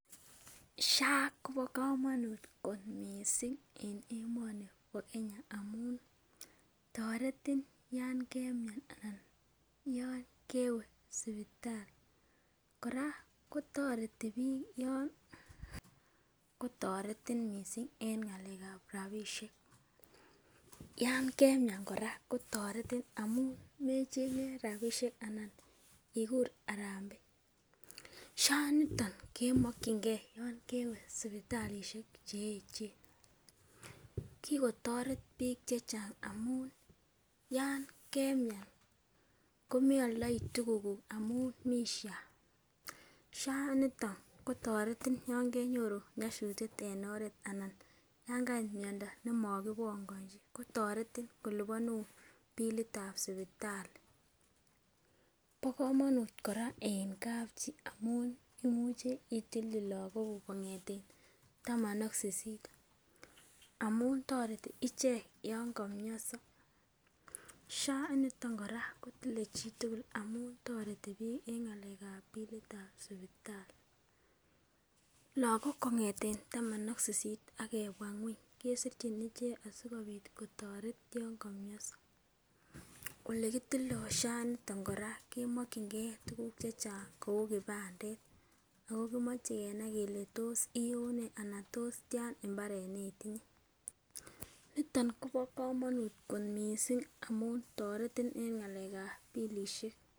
SHA kobo kamanut kot mising en emoni bo Kenya amun toretin yon kemian anan yon kewe sipitali, kora kotoreti piik yon kotoretin mising en ngalekab rabiisiek, yan kemian kora kotoretin amun mechenge rabiisiek anan ikur harambee, SHA niton kemokchinkei yon kewe sipitalisiek che echen, kikotoret piik che chang amun yon kemian komealdoi tukukuk amun mi SHA, sha niton kotoretin yo kenyoru nyasutiet en oret anan ya kait miondo ne makibongonchi kotoretin kolipanun bilitab sipitali, bo kamanut kora en kapchi amun imuche itilchi lagokuk kongeten taman ak sisit amun toreti ichek yon kamionso, SHA initon kora kotile chitugul amun toretipiik eng ngalekab billitab sipitali, lagok kongeten taman ak sisit ak kebwa ngueny kesirchin ichek asikobit kotoret yon kamionso, olekitildoi SHA initon kora kemokchinkei tukuk che chang kou kipandet, ako kimoche kenai kele tos iune anan tos tian imbaret ne itinye, niton kobo kamanut kot mising amun toretin eng ngalekab bilisiek.